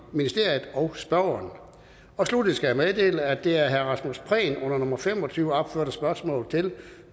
ministeriet og spørgeren sluttelig skal jeg meddele at det af rasmus prehn under nummer fem og tyve opførte spørgsmål til